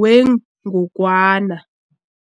wengogwana.